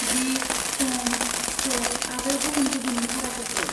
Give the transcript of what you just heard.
दिग, सम, स्ट'प आरो गुबुन गुबुन भाराफोरखौ।